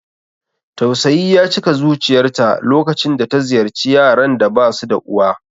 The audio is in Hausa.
Tausayi ya cika zuciyarta lokacin da ta ziyarci yaran da basu da uwa.